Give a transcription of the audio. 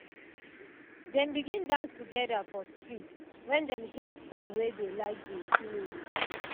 dem begin dance together for street when dem hear song wey dey like dey play.